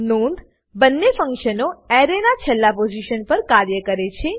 નોંધ બંને ફન્કશનો એરેના છેલ્લા પોઝીશન પર કાર્ય કરે છે